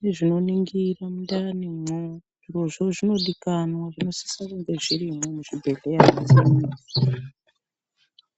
nezvinoningira mundanimwo, zvirozvo zvinodikamwa zvinosisa kunge zvirimwo muzvibhedhleya imomo.